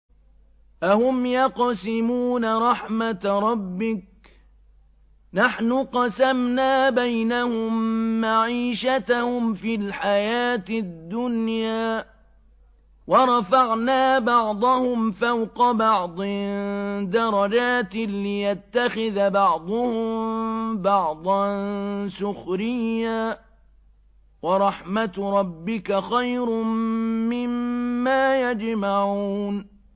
أَهُمْ يَقْسِمُونَ رَحْمَتَ رَبِّكَ ۚ نَحْنُ قَسَمْنَا بَيْنَهُم مَّعِيشَتَهُمْ فِي الْحَيَاةِ الدُّنْيَا ۚ وَرَفَعْنَا بَعْضَهُمْ فَوْقَ بَعْضٍ دَرَجَاتٍ لِّيَتَّخِذَ بَعْضُهُم بَعْضًا سُخْرِيًّا ۗ وَرَحْمَتُ رَبِّكَ خَيْرٌ مِّمَّا يَجْمَعُونَ